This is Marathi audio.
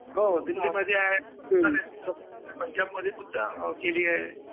हो, दिल्लीमध्ये आहे, पंजाब मध्ये सुद्धा आहे.